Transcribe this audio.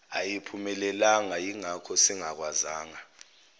ayiphumelelanga yingakho singakwazanga